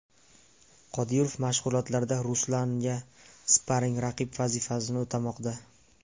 Qodirov mashg‘ulotlarda Ruslanga sparing-raqib vazifasini o‘tamoqda.